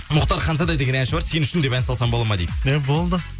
мұхтар ханзада деген әнші бар сен үшін деп ән салсам болады ма дейді иә болды